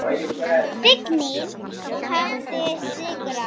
Fíknin hafði sigrað.